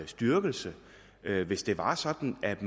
styrkelse hvis det var sådan at